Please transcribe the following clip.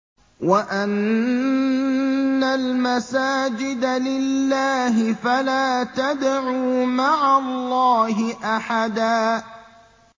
وَأَنَّ الْمَسَاجِدَ لِلَّهِ فَلَا تَدْعُوا مَعَ اللَّهِ أَحَدًا